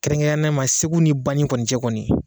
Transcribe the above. Kɛrɛnnen ma segu ni bani kɔni cɛ kɔni